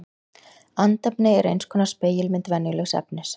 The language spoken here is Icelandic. Andefni er eins konar spegilmynd venjulegs efnis.